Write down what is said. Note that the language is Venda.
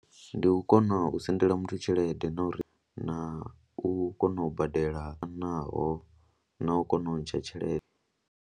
Ndi u kona u sendela muthu tshelede na uri na u kona u badela naho na u kona u ntsha tshelede.